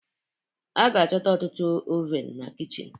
A ga-achọta ọtụtụ oven na kichin